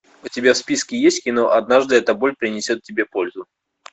у тебя в списке есть кино однажды эта боль принесет тебе пользу